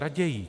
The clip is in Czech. Raději.